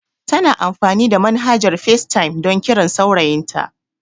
Tana amfani da manhajar FaceTime don kiran saurayin ta